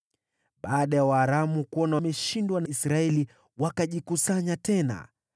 Baada ya Waaramu kuona wameshindwa na Israeli, wakajikusanya tena.